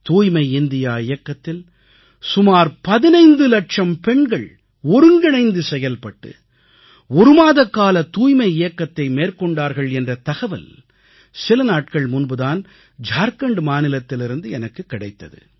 தூய்மை இந்தியா இயக்கத்தில் சுமார் 15 இலட்சம் பெண்கள் ஒருங்கிணைந்து செயல்பட்டு ஒரு மாதக்கால தூய்மை இயக்கத்தை மேற்கொண்டார்கள் என்ற தகவல் சில நாட்கள் முன்பு தான் ஜார்க்கண்ட் மாநிலத்திலிருந்து எனக்கு கிடைத்தது